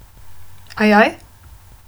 Ajaj?